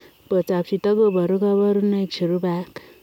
Portoop chitoo kobaruu kabarunaik cherubei ak